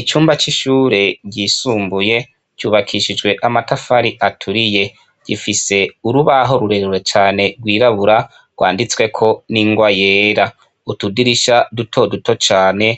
Icumba c'ishure ryisumbuye cubakishijwe amatafari aturiye. Gifise urubaho rurerure cane rwirabura rwanditsweko n'ingwa yera, utudirisha dutoduto cane